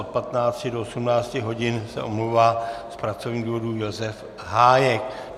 Od 15 do 18 hodin se omlouvá z pracovních důvodů Josef Hájek.